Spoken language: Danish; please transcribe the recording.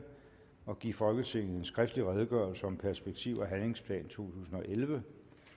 at give folketinget en skriftlig redegørelse om perspektiv og handlingsplan totusinde og ellevte